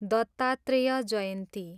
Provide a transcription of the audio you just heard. Dattatreya Jayanti